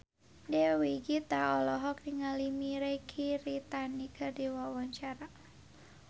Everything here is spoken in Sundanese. Dewi Gita olohok ningali Mirei Kiritani keur diwawancara